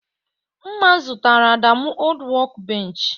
Mma zụtara Adamu old workbench.